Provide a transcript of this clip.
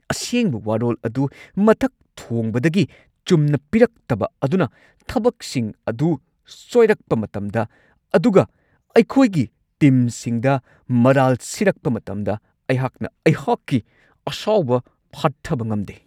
ꯑꯁꯦꯡꯕ ꯋꯥꯔꯣꯜ ꯑꯗꯨ ꯃꯊꯛ ꯊꯣꯡꯕꯗꯒꯤ ꯆꯨꯝꯅ ꯄꯤꯔꯛꯇꯕ ꯑꯗꯨꯅ ꯊꯕꯛꯁꯤꯡ ꯑꯗꯨ ꯁꯣꯏꯔꯛꯄ ꯃꯇꯝꯗ ꯑꯗꯨꯒ ꯑꯩꯈꯣꯏꯒꯤ ꯇꯤꯝꯁꯤꯡꯗ ꯃꯔꯥꯜ ꯁꯤꯔꯛꯄ ꯃꯇꯝꯗ ꯑꯩꯍꯥꯛꯅ ꯑꯩꯍꯥꯛꯀꯤ ꯑꯁꯥꯎꯕ ꯐꯥꯊꯕ ꯉꯝꯗꯦ ꯫